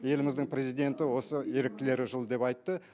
еліміздің президенті осы еріктілер жылы деп айтты